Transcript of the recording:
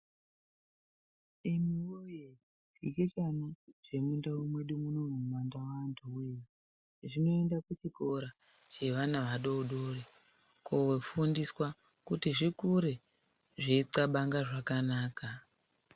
Imi voye zvichechana zvemundau mwedu munomu mumandau antu voye. Zvinoenda kuchikora zvevana vadodori kofundiswa kuti zvikure zveitxabanga zvakanaka.